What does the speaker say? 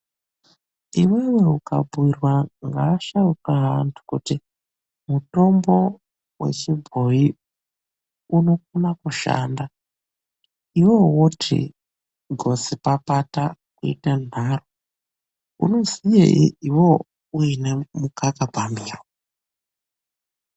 Iwewe ukabhuirwa ngaasharuka aantu kuti mutombo wechibhoyi unokona kushanda, iwewe woti gotsi papata kuita nharo, unoziyei iwewe uine mukaka pamiro.